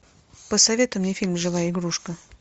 посоветуй мне фильм живая игрушка